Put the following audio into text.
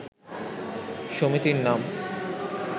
সমিতির নাম